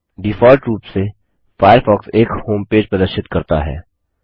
default रूप से Firefox एक होमपेज प्रदर्शित करता है